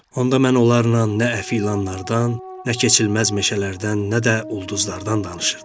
Onda mən onlarla nə əfi ilanlardan, nə keçilməz meşələrdən, nə də ulduzlardan danışırdım.